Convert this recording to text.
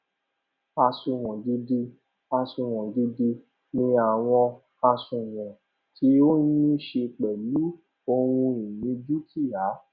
àsunwon gidi àsunwon gidi ni àwọn àsunwon tí ó ní ṣe pèlú ohun ìní dúkìá